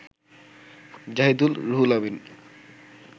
Zahidul, Ruhul Amin